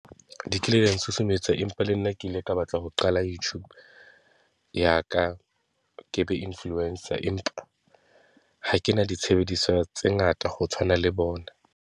Di kile di ya ntshusumetsa, empa le nna ke ile ka batla ho qala Youtube ya ka, ke be influencer. Empa ha ke na ditshebediswa tse ngata, ho tshwana le bona.